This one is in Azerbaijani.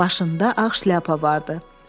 Başında ağ şlyapa vardı.